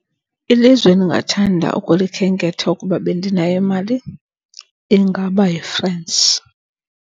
Ilizwe endingathanda ukulikhenketha ukuba bendinayo imali ingaba yiFrance.